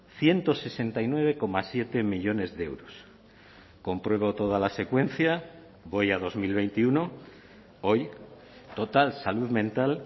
ciento sesenta y nueve coma siete millónes de euros compruebo toda la secuencia voy a dos mil veintiuno hoy total salud mental